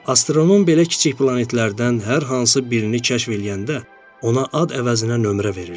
Astronom belə kiçik planetlərdən hər hansı birini kəşf eləyəndə ona ad əvəzinə nömrə verirdi.